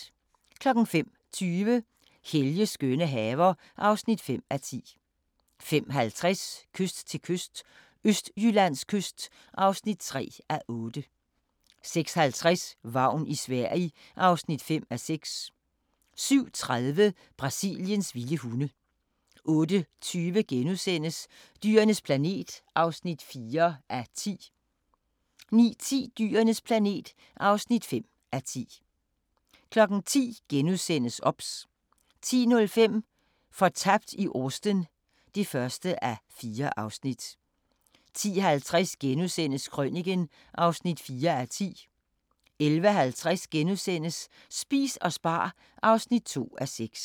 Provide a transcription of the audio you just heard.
05:20: Helges skønne haver (5:10) 05:50: Kyst til kyst – Østjyllands kyst (3:8) 06:50: Vagn i Sverige (5:6) 07:30: Brasiliens vilde hunde 08:20: Dyrenes planet (4:10)* 09:10: Dyrenes planet (5:10) 10:00: OBS * 10:05: Fortabt i Austen (1:4) 10:50: Krøniken (4:10)* 11:50: Spis og spar (2:6)*